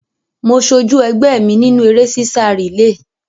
Mo sojú ẹgbẹ́ mi nínú eré sísá rìléè.